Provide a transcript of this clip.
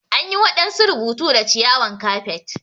An yi wadansu rubutu da ciyawan kafet.